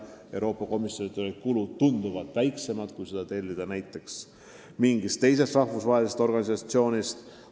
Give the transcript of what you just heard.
Euroopa Komisjoni puhul on kulud tunduvalt väiksemad, kui need oleksid mingi teise rahvusvahelise organisatsiooni puhul.